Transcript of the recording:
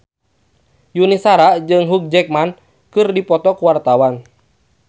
Yuni Shara jeung Hugh Jackman keur dipoto ku wartawan